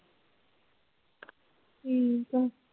ਠੀਕ ਹੈ।